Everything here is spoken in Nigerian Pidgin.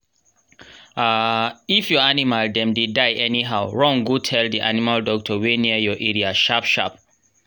um if your animal dem dey die anyhow run go tell the animal doctor wey near your area sharp sharp